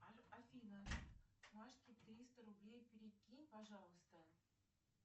афина машке триста рублей перекинь пожалуйста